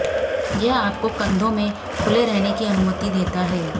यह आपको कंधों में खुले रहने की अनुमति देता है